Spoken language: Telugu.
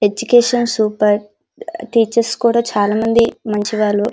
ఎడ్యుకేషన్ సూపర్ టీచర్స్ కూడా చాలా మంది మంచివాళ్లు --